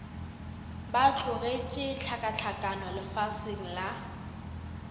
ba hlotšego hlakahlakano lefaseng la